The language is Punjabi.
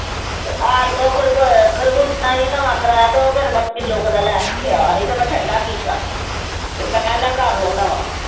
ਤੇ ਆਣ ਕੇ ਉਹ ਖਰਗੋ ਖ਼ਰਬੂਜਾ ਨੀ ਨਵਾਂ ਕਰਾਇਆ ਤੇ ਉਹ ਫਿਰ ਮੈਂ ਕਿੱਲੋ ਕੁ ਦਾ ਲੈ ਕੇ ਆਇਆ ਸੀ ਤੇ ਮੈਂ ਠੰਢਾ ਕੀਤਾ ਤੇ ਮੈਂ ਲੈ ਕਰ ਲੈਨਾ ਵਾਂ।